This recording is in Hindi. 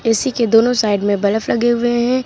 इसी के दोनों साइड में बलफ लगे हुए हैं।